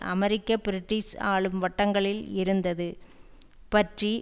அமெரிக்க British ஆளும் வட்டங்களில் இருந்தது பற்றி